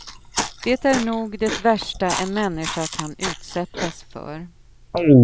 Det är nog det värsta en människa kan utsättas för.